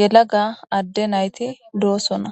yelaga adde nayti doosonna.